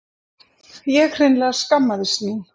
Ég hreinlega skammaðist mín.